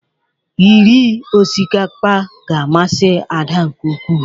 Iri osikapa ga-amasị Ada nke ukwu.